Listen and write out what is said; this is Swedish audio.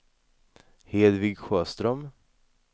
Hedvig Sjöström